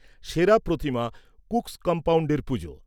সেরা প্রতিমা কুকস কমপাউন্ডের পুজো।